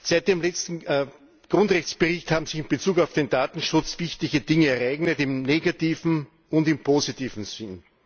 Seit dem letzten Grundrechtebericht haben sich in Bezug auf den Datenschutz wichtige Dinge ereignet, im negativen und im positiven Sinn.